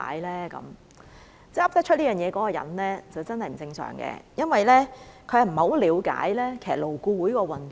說得出這種話的人真的是不正常，因為他並不了解勞顧會的運作。